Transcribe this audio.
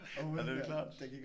**UF***